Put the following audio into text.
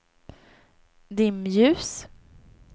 dimljus